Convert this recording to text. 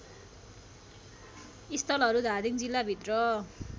स्थलहरू धादिङ जिल्लाभित्र